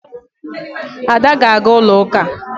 Ada ga-aga ulo uka.